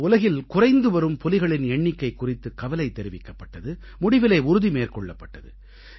இதில் உலகில் குறைந்து வரும் புலிகளின் எண்ணிக்கை குறித்து கவலை தெரிவிக்கப்பட்டது முடிவிலே உறுதி மேற்கொள்ளப்பட்டது